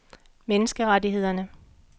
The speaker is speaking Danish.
menneskerettighederne